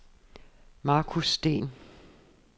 Marcus Steen